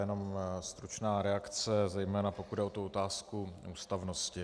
Jenom stručná reakce, zejména pokud jde o otázku ústavnosti.